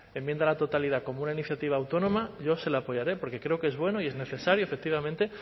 enmienda a la totalidad como una iniciativa autónoma yo se la apoyaré porque creo que es bueno y es necesario efectivamente